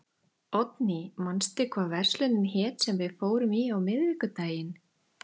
Oddný, manstu hvað verslunin hét sem við fórum í á miðvikudaginn?